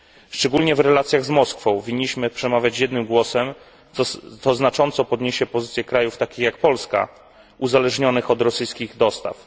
Szczególnie w relacjach z Moskwą winniśmy przemawiać jednym głosem, co znacząco podniesie pozycję krajów takich jak Polska, uzależnionych od rosyjskich dostaw.